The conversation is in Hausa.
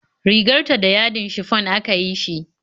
Rigar ta da yadin shifon aka yi shi